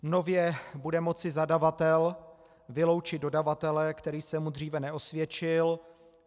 Nově bude moci zadavatel vyloučit dodavatele, který se mu dříve neosvědčil.